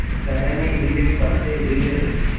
टहनी हिली पत्ते हिले